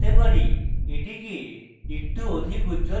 এটিকে একটু অধিক উজ্জ্বল করতে হবে